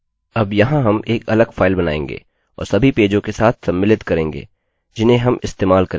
अब यहाँ हम एक अलग फाइल बनाएँगे और सभी पेजों के साथ सम्मिलित करेंगे जिन्हें हम इस्तेमाल करेंगे